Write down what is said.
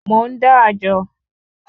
Mò ń dá àjọ